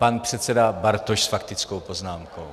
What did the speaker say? Pan předseda Bartoš s faktickou poznámkou.